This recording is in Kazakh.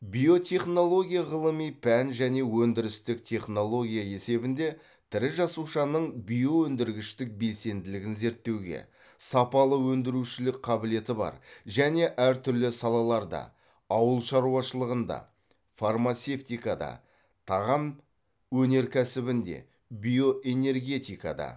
биотехнология ғылыми пән және өндірістік технология есебінде тірі жасушаның биоөндіргіштік белсенділігін зерттеуге сапалы өндірушілік қабілеті бар және әртүрлі салаларда ауыл шаруашылығында фармацевтикада тағам өнеркәсібінде биоэнергетикада